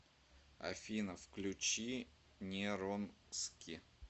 афина включи неронски